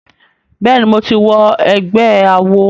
Bẹ́ẹ̀ ni, mo ti wọ ẹgbé awo.